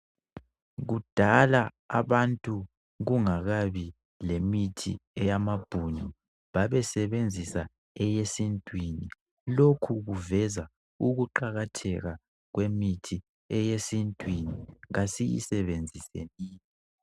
Kudala abantu kungakabi lemithi ayamabhunu babesebenzisa eyesintwini lokhu kuveza ukuqakatheka kwemithi eyesintwini kasiyisebenzisenini